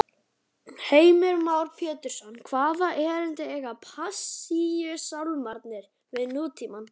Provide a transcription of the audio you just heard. Heimir Már Pétursson: Hvaða erindi eiga Passíusálmarnir við nútímann?